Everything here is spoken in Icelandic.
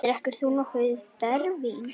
Drekkur þú nokkuð brennivín?